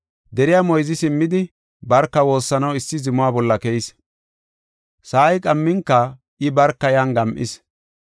Deriya moyzi simmidi barka woossanaw issi zuma bolla keyis. Sa7ay qamminka I barka yan gam7is.